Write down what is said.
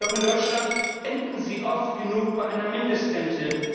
Doch in Deutschland enden sie oft genug bei einer Mindestrente.